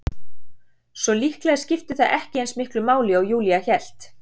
Svo líklega skipti það ekki eins miklu máli og Júlía hélt.